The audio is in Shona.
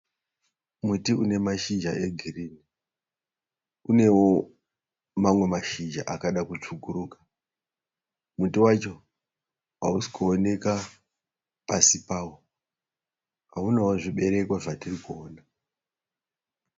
Muti unamashizha egirini unewo mamwe mashizha akada kutsvukuruka muti wacho hausi kuoneka pasi pawo haunawo zvibereko zvatirikuona.